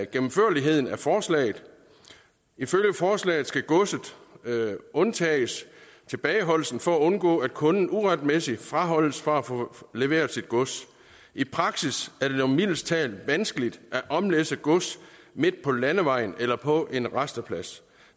gennemførligheden af forslaget ifølge forslaget skal godset undtages tilbageholdelsen for at undgå at kunden uretmæssigt fraholdes fra at få leveret sit gods i praksis er det dog mildest talt vanskeligt at omlæsse gods midt på landevejen eller på en rasteplads